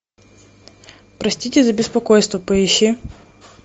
простите за беспокойство поищи